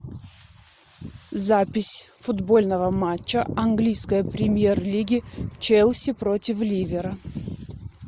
запись футбольного матча английской премьер лиги челси против ливера